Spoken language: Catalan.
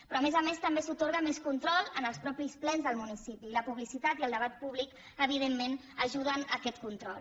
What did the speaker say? però a més a més també s’atorga més control als mateixos plens del municipi i la publicitat i el debat públic evidentment ajuden en aquest control